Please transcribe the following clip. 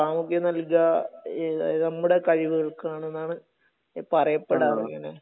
പ്രാമുഖ്യം നൽകുക നമ്മുടെ കഴിവുകൾക്ക് ആണെന്നാണ് പറയപ്പെടാറ് ഇങ്ങനെ..